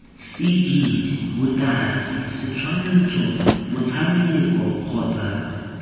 cd botaki setshwantsho motshameko kgotsa